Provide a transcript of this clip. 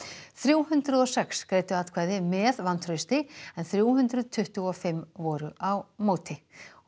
þrjú hundruð og sex greiddu atkvæði með vantrausti en þrjú hundruð tuttugu og fimm voru á móti og